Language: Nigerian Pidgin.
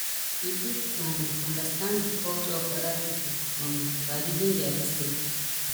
we fit um understand di culture of oda pipo um by reading their history